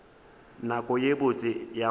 nako ye botse ya go